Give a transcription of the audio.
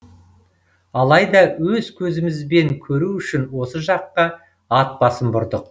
алайда өз көзімізбен көру үшін осы жаққа ат басын бұрдық